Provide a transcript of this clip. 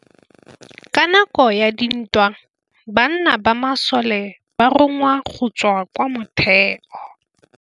Ka nakô ya dintwa banna ba masole ba rongwa go tswa kwa mothêô.